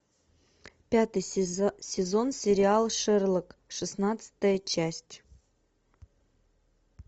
пятый сезон сериал шерлок шестнадцатая часть